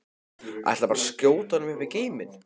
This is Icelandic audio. Ætlarðu bara að skjóta honum upp í geiminn?